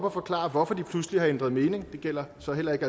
og forklare hvorfor de pludselig har ændret mening det gælder så heller ikke